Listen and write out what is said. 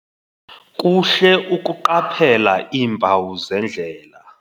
Kuhle ukuqaphela iimpawu zendlela.